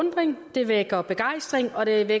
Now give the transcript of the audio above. annette